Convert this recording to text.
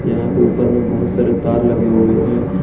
यहा पे ऊपर मे बहुत सारे तार लगे हुए है।